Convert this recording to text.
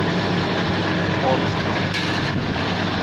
орску